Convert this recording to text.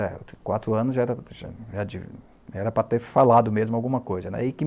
Quatro anos, já era(murmurios), era para ter falado mesmo alguma coisa.